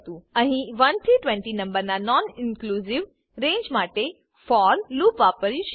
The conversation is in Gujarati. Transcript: અહી 1 થી 20 નંબરના નોનઇનક્લુંજીવ રેંજ માટે ફોર લૂપ વાપર્યું છે